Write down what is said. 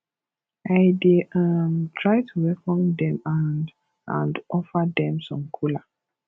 i dey um try to welcome dem and and offer dem some kola